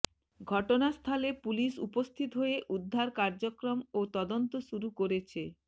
ঘটনাস্থলে পুলিশ উপস্থিত হয়ে উদ্ধার কার্যক্রম ও তদন্ত শুরু করেছে